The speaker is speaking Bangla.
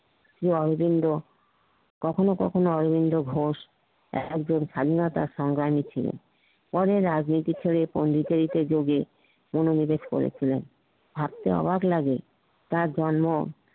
শ্রি অরবিন্দ কখনও কখনও অরবিন্দ ঘোষ একজন স্বাধীনতা সংগ্রামী ছিলেন পরে রাজনীতি ছেড়ে পন্ডিচেরী যোগে অনুনিবেশ করেছিলেন ভাবতে অবাক লাগে তার জন্ম